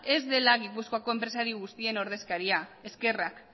ez dela gipuzkoako enpresari guztien ordezkaria eskerrak